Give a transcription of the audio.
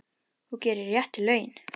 Þú gerir réttu lögin.